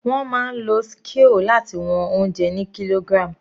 Wọ́n máa ń lo scale láti wọn oúnjẹ ni kilogram.